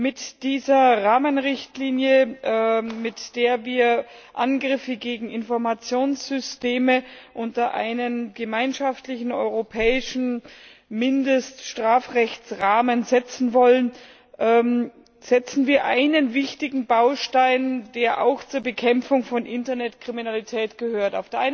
Mit dieser Rahmenrichtlinie, mit der wir Angriffe gegen Informationssysteme unter einen gemeinschaftlichen europäischen Mindeststrafrechtsrahmen setzen wollen, setzen wir einen wichtigen Baustein, der auch zur Bekämpfung von Internetkriminalität gehört.